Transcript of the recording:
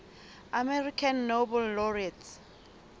american nobel laureates